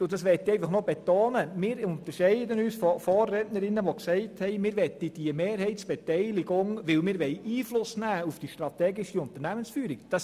Ich möchte betonen, dass wir uns von den Vorrednerinnen unterscheiden, die gesagt haben, sie möchten die Mehrheitsbeteiligung, um Einfluss auf die strategische Unternehmensführung zu nehmen.